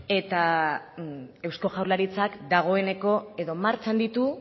eta eusko jaurlaritzak dagoeneko edo martxan ditu